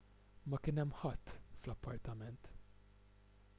ma kien hemm ħadd fl-appartament